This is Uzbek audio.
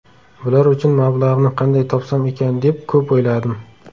Bular uchun mablag‘ni qanday topsam ekan deb ko‘p o‘yladim.